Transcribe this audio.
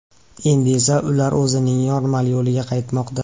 Endi esa ular o‘zining normal yo‘liga qaytmoqda.